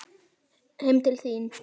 Heim til þín?